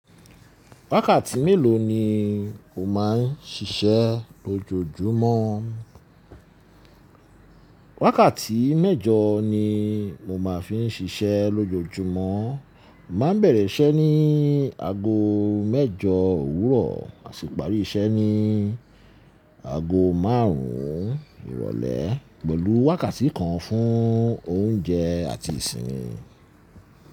Wákàtí mélòó ni o má ń ṣiṣẹ́ lójoójúmọ́? Wákàtí mẹ́jọ ni mo má ń fi ń ṣiṣẹ́ lójoójúmọ́. Mo máa ń bẹ̀rẹ̀ iṣẹ́ ní aago mẹ́jọ òwúrọ̀ àsi pàrí iṣẹ́ ní aago márùn ún ìrọ̀lẹ́ pẹ̀lú wákàtí kan fún oúnjẹ àti ìsinmi.